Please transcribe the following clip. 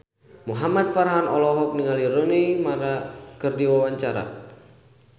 Muhamad Farhan olohok ningali Rooney Mara keur diwawancara